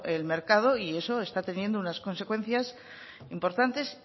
el mercado y eso está teniendo unas consecuencias importantes